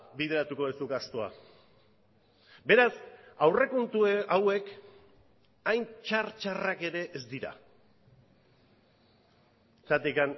bideratuko duzu gastua beraz aurrekontu hauek hain txar txarrak ere ez dira zergatik